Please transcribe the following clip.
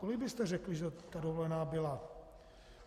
Kolik byste řekli, že ta dovolená byla?